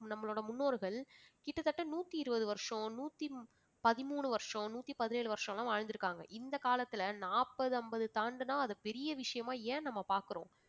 நம்மளோட முன்னோர்கள் கிட்டத்தட்ட நூத்தி இருவது வருஷம், நூத்தி பதிமூணு வருஷம் நூத்தி பதினேழு வருஷலாம் வாழ்ந்து இருக்காங்க. இந்த காலத்துல நாப்பது அம்பது தாண்டனா அது பெரிய விஷயமா ஏன் நம்ம பாக்குறோம்?